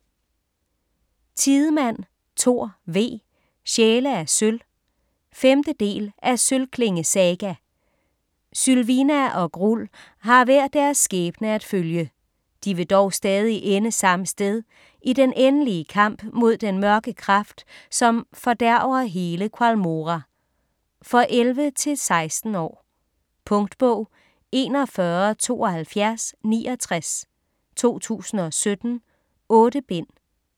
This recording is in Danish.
Tidemand, Thor V.: Sjæle af sølv 5. del af Sølvklinge saga. Sylvina og Grull har hver deres skæbne at følge. De vil dog stadig ende samme sted: i den endelige kamp mod den mørke kraft som fordærver hele Qualmora. For 11-16 år. Punktbog 417269 2017. 8 bind.